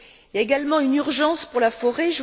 Il y a également une urgence pour la forêt.